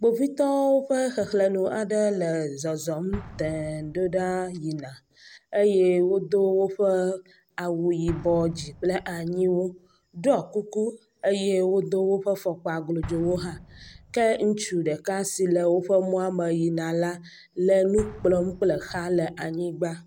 Kpovitɔwo ƒe xexlenu aɖe le zɔzɔm teŋ ɖoɖa yina eye wodó wóƒe awu yibɔ dzi kple anyiwu ɖɔ kuku eye wodó wóƒe fɔkpa glodzowo hã ke ŋutsu ɖeka si le wóƒe mɔa me yina la le nukplɔm kple xa le anyigba